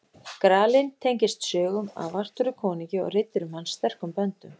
Gralinn tengist sögum af Artúri konungi og riddurum hans sterkum böndum.